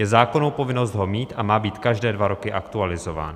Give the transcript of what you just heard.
Je zákonná povinnost ho mít a má být každé dva roky aktualizován.